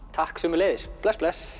takk sömuleiðis bless bless